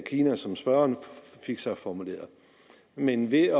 kina som spørgeren fik sig formuleret men ved